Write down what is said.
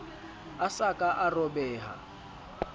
a sa ka a robeha